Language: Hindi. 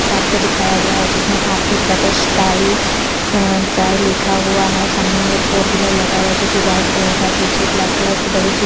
शॉप को दिखाई गया है जिसमे R K brothers style dry लिखा हुआ है सामने मे एक फोर व्हीलर लगा हुआ है जो की वाइट कलर का है पीछे ब्लैक कलर की बड़ी सी--